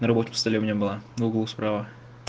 на рабочем столе у меня была в углу справа